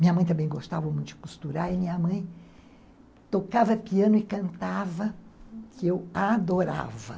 Minha mãe também gostava muito de costurar e minha mãe tocava piano e cantava, uhum, que eu adorava.